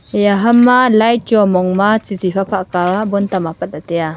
eya ham ma light chu chi chi pha pha kah bulb tam apat la tai aa.